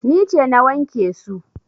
Ni ce na wanke su.